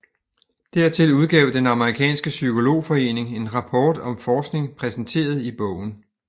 Dertil udgav den amerikanske psykologforening en rapport om forskning præsenteret i bogen